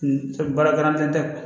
Baara kalan tɛ